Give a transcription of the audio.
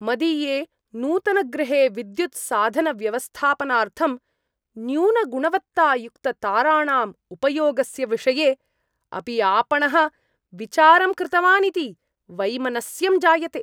मदीये नूतनगृहे विद्युत्साधनव्यवस्थापनार्थं न्यूनगुणवत्तायुक्तताराणाम् उपयोगस्य विषये अपि आपणः विचारं कृतवान् इति वैमनस्यं जायते।